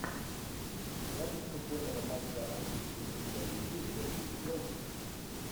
запись футбольного матча английской премьер лиги ливерпуль челси